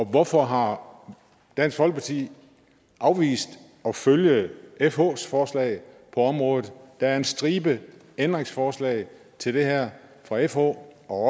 hvorfor har dansk folkeparti afvist at følge fhs forslag på området der er en stribe ændringsforslag til det her fra fh og